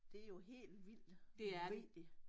Det jo helt vildt vigtigt